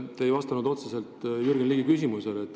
Te ei vastanud otseselt Jürgen Ligi küsimusele.